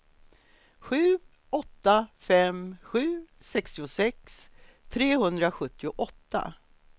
sju åtta fem sju sextiosex trehundrasjuttioåtta